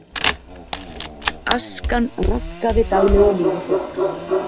Askan raskaði daglegu lífi fólks